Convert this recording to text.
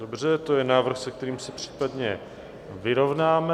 Dobře, to je návrh, s kterým se případně vyrovnáme.